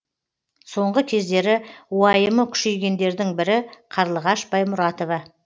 соңғы кездері уайымы күшейгендердің бірі қарлығаш баймұратова